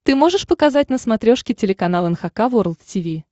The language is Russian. ты можешь показать на смотрешке телеканал эн эйч кей волд ти ви